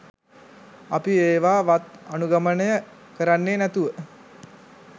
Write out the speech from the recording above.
අපි ඒවා වත් අනුගමනය කරන්නේ නැතුව